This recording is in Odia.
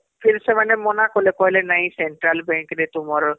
ଫିର ସେମାନେ ମନା କଲେ କହିଲେ ନାଇଁ central bank ତୁମର